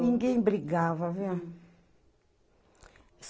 Ninguém brigava viu.